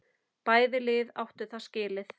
Bæði lið áttu það skilið.